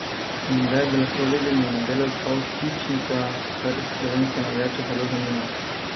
In kdaj bi lahko videli na delu Kavtičnika, kar slovenske navijače zelo zanima?